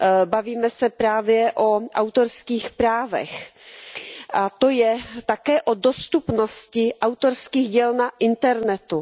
Bavíme se právě o autorských právech, a to je také o dostupnosti autorských děl na internetu.